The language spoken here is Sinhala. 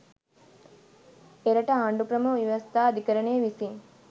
එරට ආණ්ඩුක්‍රම ව්‍යවස්ථා අධිකරණය විසින්